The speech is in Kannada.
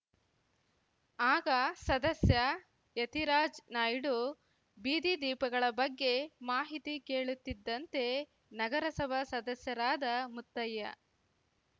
ಆಗ ಸದಸ್ಯ ಯತೀರಾಜ್‌ ನಾಯ್ಡು ಬೀದಿ ದೀಪಗಳ ಬಗ್ಗೆ ಮಾಹಿತಿ ಕೇಳುತ್ತಿದ್ದಂತೆ ನಗರಸಭಾ ಸದಸ್ಯರಾದ ಮುತ್ತಯ್ಯ